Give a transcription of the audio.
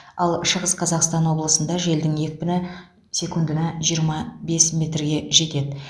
ал шығыс қазақстан облысында желдің екпіні секундына жиырма бес метрге жетеді